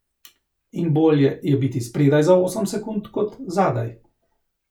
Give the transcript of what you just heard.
In bolje je biti spredaj za osem sekund, kot zadaj.